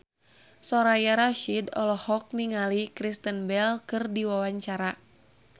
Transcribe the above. Soraya Rasyid olohok ningali Kristen Bell keur diwawancara